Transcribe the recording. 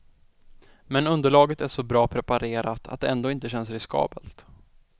Men underlaget är så bra preparerat, att det ändå inte känns riskabelt.